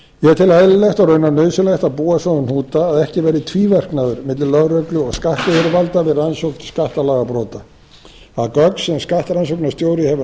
tel eðlilegt og raunar nauðsynlegt að búa svo um hnúta að ekki verði tvíverknaður milli lögreglu og skattyfirvalda við rannsókn skattalagabrota að gögn sem skattrannsóknarstjóra hefur